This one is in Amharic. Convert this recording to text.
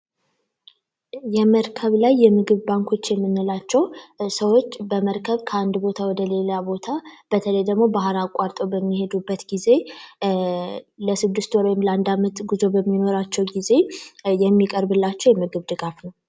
የመርከብ ላይ የምግብ ባንኮች የምንላቸው ሰዎች በመርከብ ላይ ከንድ ቦታ ወደሌላ ቦታ በተለይ ደግሞ ባህር አቋርጠው በሚሄዱበት ጌዜ ለስድስት ወር ወይም ለአንድ አመት ጉዞ በሚኖራቸው ጊዜ የሚቀርብላቸው የምግብ ድጋፍ ነው።